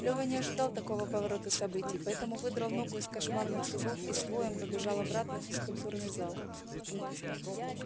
лева не ожидал такого поворота событий поэтому выдрал ногу из кошмарных зубов и с воем побежал обратно в физкультурный зал